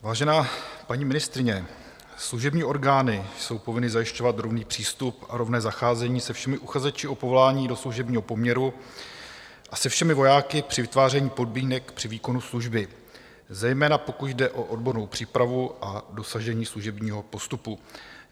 Vážená paní ministryně, služební orgány jsou povinny zajišťovat rovný přístup a rovné zacházení se všemi uchazeči o povolání do služebního poměru a se všemi vojáky při vytváření podmínek při výkonu služby, zejména pokud jde o odbornou přípravu a dosažení služebního postupu.